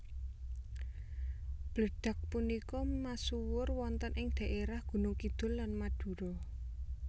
Bledag punika masuwur wonten ing daerah Gunung Kidul lan Madura